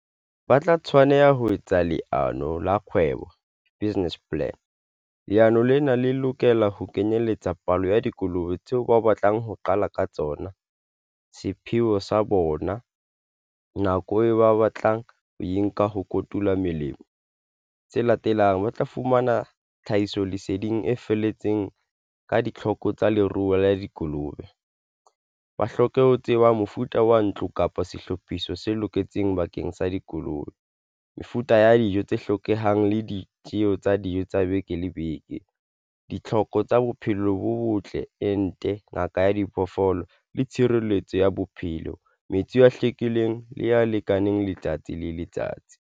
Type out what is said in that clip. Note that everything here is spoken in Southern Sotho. Ba tla tshwaneha ho etsa leano la kgwebo, business plan. Leano lena le lokela ho kenyelletsa palo ya dikolobe tseo ba batlang ho qala ka tsona sepheo sa bona nako e ba batlang ho e nka ho kotula melemo tse latelang. Ba tla fumana tlhahisoleseding e felletseng. Ka ditlhoko tsa leruo la dikolobe. Ba hloke ho tseba mofuta wa ntlo kapa sehlopha seo se loketseng bakeng sa dikolobe, mefuta ya dijo tse hlokehang le ditjeho tsa dijo tsa beke le beke ditlhoko tsa bophelo bo botle, ente, ngaka ya diphoofolo le tshireletso ya bophelo, metsi a hlwekileng le ya lekaneng letsatsi le letsatsi.